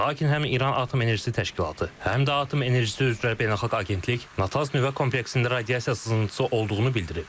Lakin həm İran Atom Enerjisi Təşkilatı, həm də Atom Enerjisi üzrə Beynəlxalq Agentlik Natanz nüvə kompleksində radiasiya sızıntısı olduğunu bildirib.